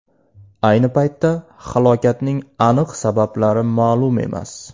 Ayni paytda halokatning aniq sabablari ma’lum emas.